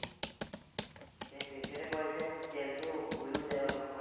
সেটোৱে সিহঁতে কয় যেন তেলটো উৰিও যায় অলপমান।